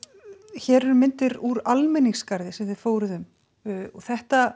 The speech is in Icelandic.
hér eru myndir úr almenningsgarði sem þið fóruð um þetta